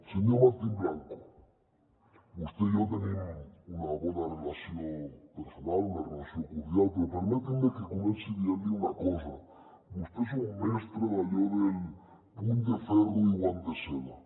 senyor martín blanco vostè i jo tenim una bona relació personal una relació cordial però permeti’m que comenci dient li una cosa vostè és un mestre d’allò del puny de ferro i guant de seda